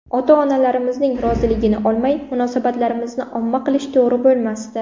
Ota-onalarimizning roziligini olmay, munosabatlarimizni omma qilish to‘g‘ri bo‘lmasdi”.